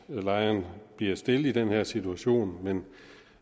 lejeren bliver stillet i den her situation men